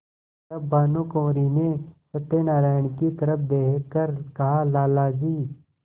तब भानुकुँवरि ने सत्यनारायण की तरफ देख कर कहालाला जी